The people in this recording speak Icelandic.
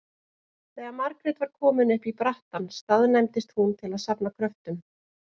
Þegar Margrét var komin upp í brattann staðnæmdist hún til að safna kröftum.